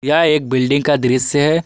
यह एक बिल्डिंग का दृश्य है।